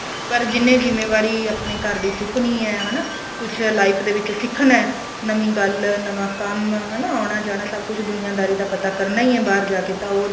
ਪਰ ਜਿੰਨੇ ਜਿੰਮੇਵਾਰੀ ਆਪਣੇ ਘਰ ਦੀ ਚੁਕਣੀ ਏ ਹਨਾ ਕੁੱਝ life ਦੇ ਵਿੱਚ ਸਿਖਣਾ ਨਵੀ ਗੱਲ ਨਵਾ ਕੰਮ ਹਨਾ ਆਉਣਾ ਜਾਣਾ ਸਭ ਕੁੱਝ ਦੁਨੀਆ ਦਾਰੀ ਦਾ ਪਤਾ ਕਰਨਾ ਈ ਏ ਬਾਹਰ ਜਾ ਕੇ ਤਾਂ ਉਹ